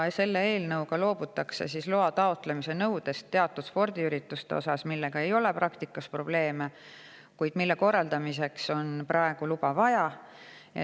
Selle eelnõu kohaselt loobutakse loa taotlemise nõudest teatud spordiürituste puhul, millega ei ole praktikas probleeme, kuid mille korraldamiseks on praegu luba vaja.